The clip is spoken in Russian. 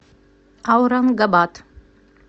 аурангабад